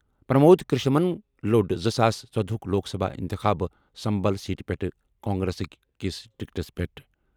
پرمود کرشنمَن لوٚڑ زٕ ساس ژۄد ہُک لوک سبھا اِنتِخاب سمبھل سیٹ پٮ۪ٹھ کانگریسٕکۍ کِس ٹکٹَس پٮ۪ٹھ۔